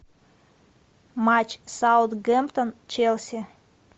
матч саутгемптон челси